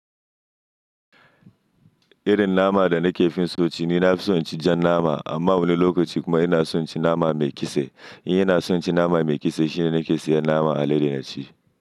Irin nama da nake fin so ci ni na fi son ci jan nama. Amma wani lokaci kuma ina son ci nama mai kise. In yana son ci nama mai kise shine nake sayan nama a Ladi na ci.